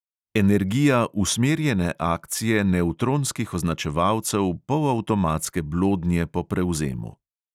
Energija usmerjene akcije nevtronskih označevalcev polavtomatske blodnje po prevzemu.